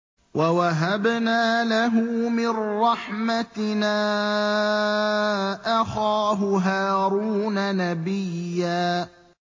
وَوَهَبْنَا لَهُ مِن رَّحْمَتِنَا أَخَاهُ هَارُونَ نَبِيًّا